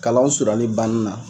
Kalanw surunyali banni na.